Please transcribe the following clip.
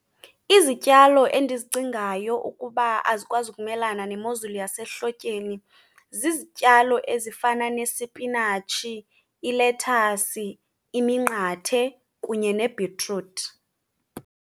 Izityalo endizicingayo ukuba azikwazi ukumelana nemozulu yasehlotyeni zizityalo ezifana nesipinatshi, ilethasi, iminqathe kunye nebhitruthi